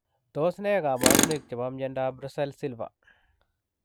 Tos nee kabarunoik chepoo miondoop Rusel silva ?